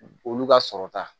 Olu ka sɔrɔta